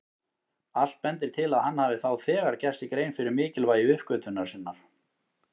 Allt bendir til að hann hafi þá þegar gert sér grein fyrir mikilvægi uppgötvunar sinnar.